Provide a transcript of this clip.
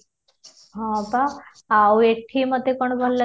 ହଁ ତ ଆଉ ଏଠି ମୋତେ କ'ଣ ଭଲ ଲାଗେ?